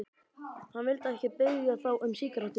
Hann vildi ekki biðja þá um sígarettu.